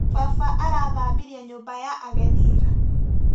Baba arathambirie nyũmba ya ageni ira.